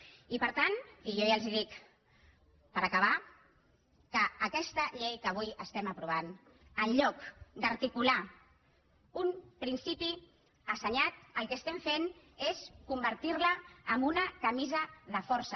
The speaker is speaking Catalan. i per tant i jo ja els ho dic per acabar que aquesta llei que avui estem aprovant en lloc d’articular un principi assenyat el que estem fent és convertir la en una camisa de força